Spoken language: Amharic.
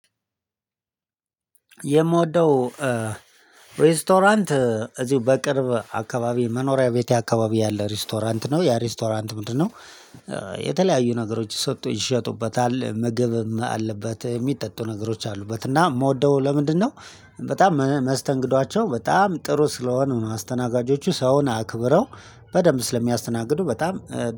የምወደው ሬስቶራንት እዚሁ በቅርብ አካባቢ መኖሪያ ቤቴ አካባቢ ያለ ሬስቶራንት ነው ያ ሬስቶራንት ምንድነው? የተለያዩ ነገሮች ይሸጡበታል ምግብም አለበት የሚጠጡ ነገሮች አሉበት። እና የምወደው ለምንድነው በጣም መስተንግዷቸው በጣም ጥሩ ስለሆኑ ነው። አስተናጋጆቹ ሰውን አክብረው በደንብ ስለሚያስተናግዱ በጣም